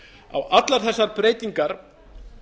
á allar þessar breytingar